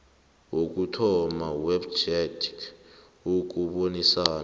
wokuthoma wepjec ukubonisana